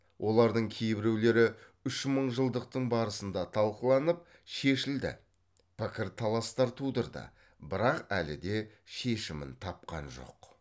олардың кейбіреулері үшмыңжылдықтың барысында талқыланып шешілді пікір таластар тудырды бірақ әлі де шешімін тапқан жоқ